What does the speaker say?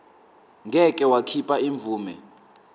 ngeke wakhipha imvume